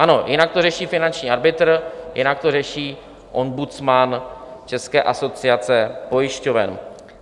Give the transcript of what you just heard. Ano, jinak to řeší finanční arbitr, jinak to řeší ombudsman České asociace pojišťoven.